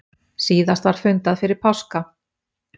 Síðast var fundað fyrir páska.